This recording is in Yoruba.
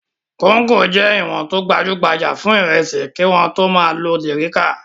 Kóńgò jẹ́ ìwọ̀n tó gbajú-gbajà fún ìrẹsì kí wọ́n tó máa lo dẹ̀ríká.